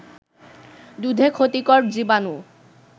দুধে ক্ষতিকর জীবাণু